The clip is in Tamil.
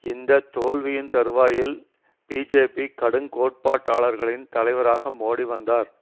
இந்த தோல்வியின் தருவாயில் பிஜேபி கடுங்கோட்பாட்டளர்களின் தலைவராக மோடி வந்தார்